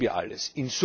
Das wissen wir alles.